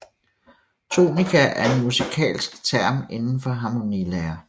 Tonika er en musikalsk term inden for harmonilære